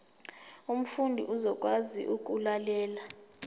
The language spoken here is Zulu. umfundi uzokwazi ukulalela